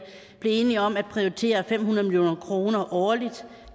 blev enige om at prioritere fem hundrede million kroner årligt